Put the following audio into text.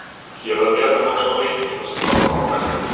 Hér að neðan má sjá leikina sem fara fram á næstunni.